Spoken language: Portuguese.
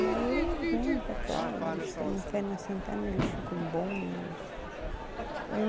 E aí eles vêm para cá, eles têm a fé na Santa Ana, eles ficam bom eles